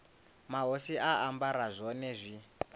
mahosi a ambara zwone zwi